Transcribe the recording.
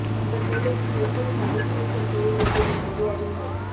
உங்கள் வேலைக்கு எப்படி பதவி நீக்கம் செய்ய வேண்டும் என்பதை அறியுங்கள்